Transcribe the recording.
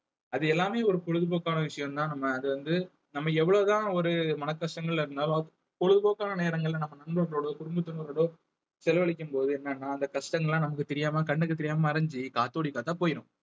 அது எல்லாமே ஒரு பொழுதுபோக்கான விஷயம்தான் நம்ம அது வந்து நம்ம எவ்வளவு தான் ஒரு மனக்கஷ்டங்கள்ல இருந்தாலும் பொழுதுபோக்கான நேரங்கள்ல நம்ம நண்பர்களோடோ குடும்பத்தினரோடு செலவழிக்கும்போது என்னன்னா அந்த கஷ்டங்கள் எல்லாம் நமக்கு தெரியாம கண்ணுக்கு தெரியாம மறைஞ்சு காத்தோடி காத்தா போயிடும்